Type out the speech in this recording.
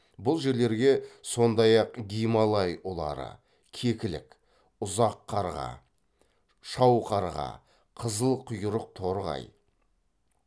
бұл жерлерге сондай ақ гималай ұлары кекілік ұзақ қарға шау қарға қызыл құйрық торғай